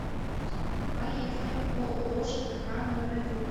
поехали ооо жкх номер один